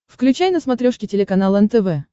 включай на смотрешке телеканал нтв